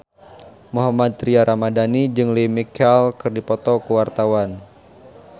Mohammad Tria Ramadhani jeung Lea Michele keur dipoto ku wartawan